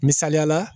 Misaliyala